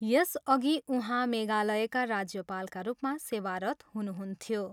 यसअघि उहाँ मेघालयका राज्यपालका रूपमा सेवारत हुनुहुन्थ्यो।